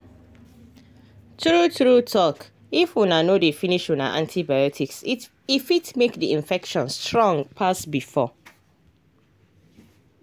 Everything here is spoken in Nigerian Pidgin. true true talkif una no dey finish una antibiotics e fit make the infection strong pass before.